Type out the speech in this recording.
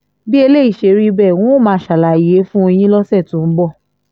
bí eléyìí ṣe rí bẹ́ẹ̀ n óò máa ṣàlàyé fún yín lọ́sẹ̀ tó ń bọ̀